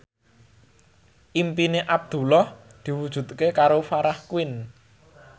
impine Abdullah diwujudke karo Farah Quinn